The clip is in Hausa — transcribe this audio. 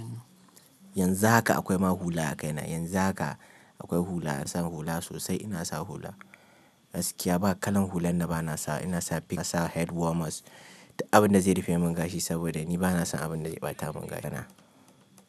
Yanzu haka akwai ma hula a kaina. Yanzu haka akwai hula. Ina sa hula sosai. Ina sa hula. Gaskiya ba kalan hulan na ba na sa. Ina sa p sa head warmers. Abin da zai rufe min gashi saboda ni ba na son abin da ya ɓata mun gado na.